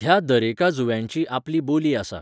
ह्या दरेका जुंव्याची आपली बोली आसा.